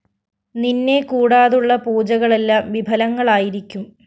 നിന്നെ കൂടാതുള്ള പൂജകളെല്ലാം വിഫലങ്ങളായിരിക്കും